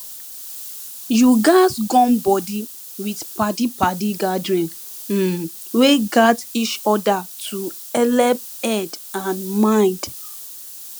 you gatz gum body with padi padi gathering um wey gat each other to helep head and mind